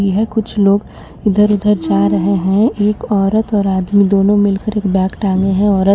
यह कुछ लोग इधर उधर जा रहे हे एक औरत और आदमी दोनों मिलकर एक बेग टाँगे हे औरत